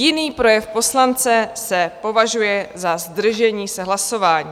Jiný projev poslance se považuje za zdržení se hlasování.